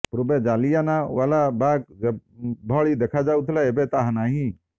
ପୂର୍ବେ ଜାଲିଆନାୱାଲା ବାଗ୍ ଯେଭଳି ଦେଖାଯାଉଥିଲା ଏବେ ତାହା ନାହିଁ